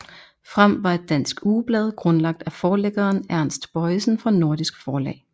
Frem var et dansk ugeblad grundlagt af forlæggeren Ernst Bojesen fra Nordisk Forlag